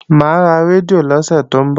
Mà á ra rédíò lọ́sẹ̀ tó ń bọ̀